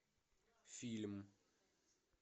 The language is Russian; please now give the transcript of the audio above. фильм